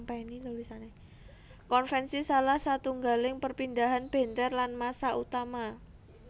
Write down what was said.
Konvensi salah satunggaling perpindahan benter lan massa utama